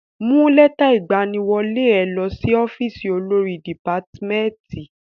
Mú lẹ́tà ìgbaniwọlé ẹ lọ sí ọ́fìsì olórí dìpátmẹ́tì.